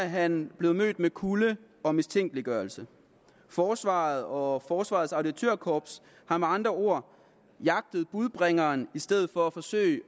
han blevet mødt med kulde og mistænkeliggørelse forsvaret og forsvarets auditørkorps har med andre ord jagtet budbringeren i stedet for at forsøge